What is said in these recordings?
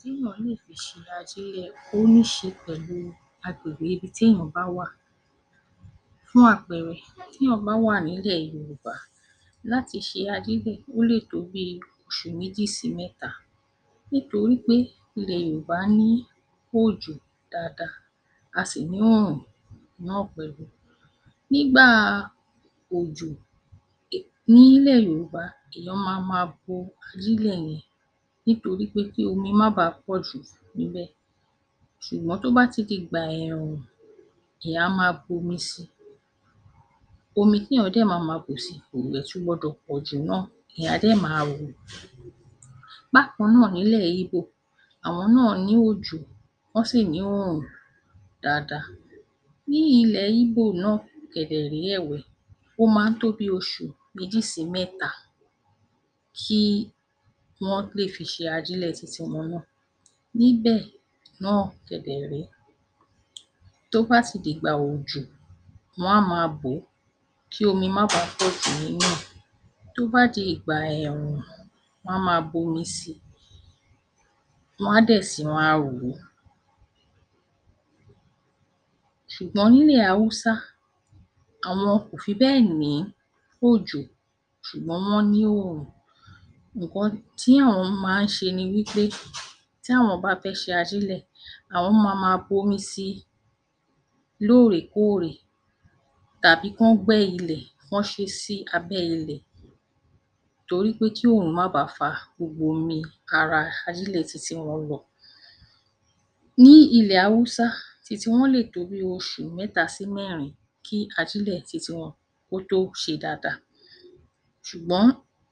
Téèyàn lè fi ṣe ajílẹ̀ ó níí ṣe pẹ̀lú agbègbè ibi téèyàn bá wà. Fún àpẹẹrẹ, téèyàn bá wà nilẹ̀ Yorùbá láti ṣe ajílẹ̀, ó lè tó bí oṣù méjì sí mẹ́ta nítorí pé ilẹ̀ Yohùbá ní òjò dáadáa, a sì ní òòhùn náà pẹ̀lú. Nígbà òjò nílẹ̀ Yorùbá èèyàn ma ma bo ajílẹ̀ yẹn nítorí pé kí omi má bàá pọ̀ jù níbẹ̀. Ṣúgbọ́n tó bá ti dìgbà ẹ̀ẹ̀rùn, èèyàn á máa bomi sí i. Omi téèyàn dẹ̀ ma ma bù si kò dẹ̀ tún gbọdọ̀ pọ̀ jù náà. Èèyàn á dẹ̀ ma hò ó. Bákan náà, nílẹ̀ Íbò, àwọn náà ní òjò, wọ́n sì ní òòrùn dáadáa. Ní ilẹ̀ Íbò náà kẹ̀dẹ̀ rèé ẹ̀wẹ̀, ó ma ń tó bí oṣù méjì sí mẹ́ta kí wọ́n lè fi ṣe ajílẹ̀ ti tiwọn náà. Níbẹ̀ náà kẹ̀ dẹ̀ rèé, tó bá ti dìgbà òjò, wọ́n á máa bò ó kí omi má bàá pọ̀ jù nínú ẹ̀. Tó bá di ìgbà ẹ̀ẹ̀rùn, wọ́n á máa bomi si, wọ́n á dẹ̀ sì máa hò ó. Ṣùgbọ́n nílẹ̀ Hausa, àwọn kò fi bẹ́ẹ̀ ní òjò sùgbọ́n wọ́n ní òòrùn. Ǹǹkan tí àwọn máa ń ṣe ni wí pé tí àwọn bá fẹ́ ṣe ajílẹ̀, àwọn ma ma bomi si lóòrèkóòrè tàbí kán gbẹ́ ilẹ̀, kán ṣe é sí abẹ́ ilẹ̀ torí pé kí òòrùn má ba à fa gbogbo omi ara ajílẹ̀ ti tiwọn lọ. Ní ilẹ̀ Hausa, ti tiwọn lè tó bí oṣù mẹ́ta sí mẹ́rin kí ajílẹ̀ ti tiwọn kó tó ṣe dáadáa, ṣùgbọ́n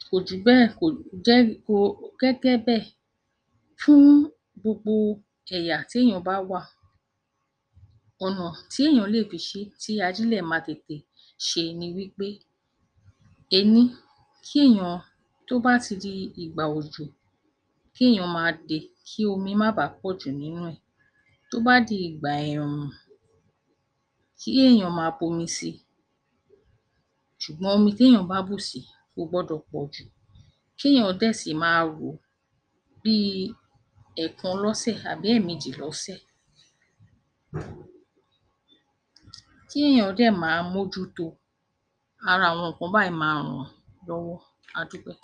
kò jù bẹ́ẹ̀ kò jẹ́ gẹ́gẹ́ bẹ́ẹ̀ fún gbogbo ẹ̀yà téèyàn bá wà. Ọ̀nà tí èèyàn lè fi ṣé tí ajílẹ̀ máa tètè ṣe ni wí pé: ení, kí èèyàn, tó bá ti di ìgbà òjò, ki èèyàn ma de, kí omi má bàá pọ̀ jù nínú ẹ̀. Tó bá di ìgbà ẹ̀ẹ̀rùn, kí èèyàn ma bomi sí i, ṣùgbọ́n omi téèyàn bá bù si kò gbọdọ̀ pọ̀ jù. Kéèyàn dẹ̀ sì máa hò ó bíi ẹ̀ẹ̀kan lọ́sẹ̀ àbí ẹ̀ẹ̀mejì lọ́sẹ̀. Kí èèyàn dẹ̀ ma mójú to. Aha àwọn ǹǹkan báyìí ma hàn án lọ́wọ́. A dúpẹ́.